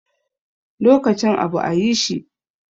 Lokacin abu ayi shi.